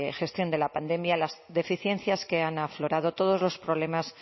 gestión de la pandemia las deficiencias que han aflorado todos los problemas